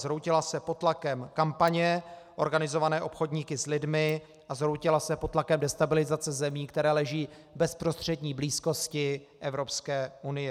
Zhroutila se pod tlakem kampaně organizované obchodníky s lidmi a zhroutila se pod tlakem destabilizace zemí, které leží v bezprostřední blízkosti Evropské unie.